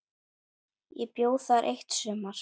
Ég bjó þar eitt sumar.